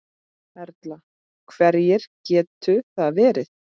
Erla: Hverjir gætu það verið?